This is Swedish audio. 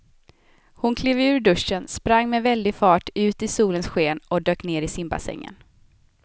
Hon klev ur duschen, sprang med väldig fart ut i solens sken och dök ner i simbassängen.